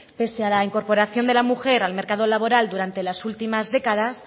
pese a la incorporación de la mujer al mercado laboral durante las últimas décadas